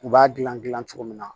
U b'a dilan gilan cogo min na